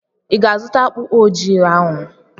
I ga-azụta akpụkpọ ụkwụ ojii ahụ?